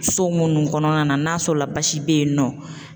So munnu kɔnɔna na n'a sɔrɔla basi be yen nɔ?